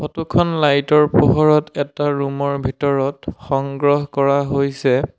Photo খন light ৰ পোহৰত এটা ৰুম ৰ ভিতৰত সংগ্ৰহ কৰা হৈছে।